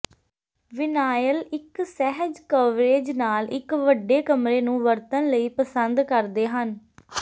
vinyl ਇੱਕ ਸਹਿਜ coverage ਨਾਲ ਇੱਕ ਵੱਡੇ ਕਮਰੇ ਨੂੰ ਵਰਤਣ ਲਈ ਪਸੰਦ ਕਰਦੇ ਹਨ